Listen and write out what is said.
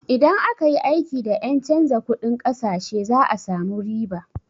Idan aka yi aiki da ƴen canza kunɗin ƙasashe za a samu riba.